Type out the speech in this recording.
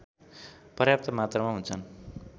पर्याप्त मात्रामा हुन्छन्